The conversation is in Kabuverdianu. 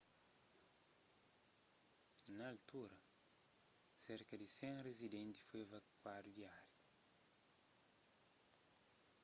na altura serka di 100 rizidentis foi evakuadu di ária